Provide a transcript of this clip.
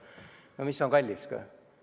No mis on kallis?